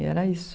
E era isso.